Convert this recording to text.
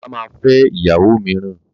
Bàbá ma fẹ́ ìyàwó mìíràn.